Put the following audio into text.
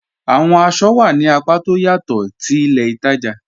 Awọn àṣọ wà ní àpá tó ọ̀ yatọ̀ ti ilẹ̀ ìtaja